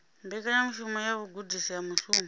mbekanyamushumo ya vhugudisi ha mushumo